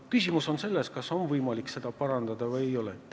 Küsimus on selles, kas on võimalik vigu parandada või ei ole.